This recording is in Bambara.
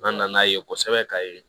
N'an na n'a ye kosɛbɛ ka ye